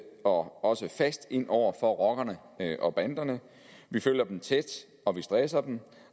og også fast ind over for rockerne og banderne vi følger dem tæt og vi stresser dem